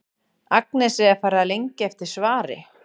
Agnesi er farið að lengja eftir svari.